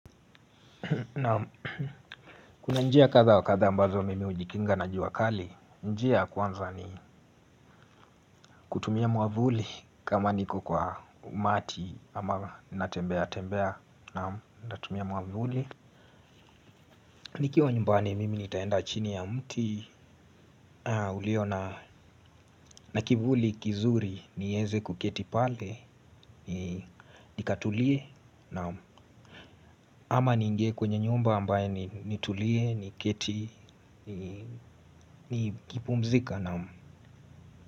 Na kuna njia kadhaa wa kadha ambazo mimi hujikinga na jua kali. Njia ya kwanza ni kutumia mwavuli kama niko kwa umati ama natembea tembea naam natumia mwavuli. Nikiwa nyumbani mimi nitaenda chini ya mti ulio na kivuli kizuri nieze kuketi pale nikatulie naam ama niingie kwenye nyumba ambayo nitulie niketi nikipumzika naam.